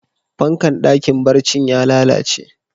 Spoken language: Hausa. Fankan dakin barcin ya lallace.